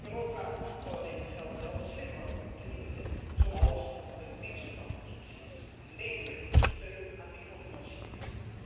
Europa zal alleen het geld wel slimmer moeten inzetten, zoals met een mix van subsidies en leningen voor steun aan microfinanciering.